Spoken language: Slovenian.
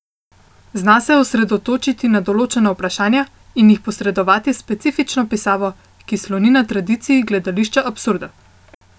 Zna se osredotočiti na določena vprašanja in jih posredovati s specifično pisavo, ki sloni na tradiciji gledališča absurda.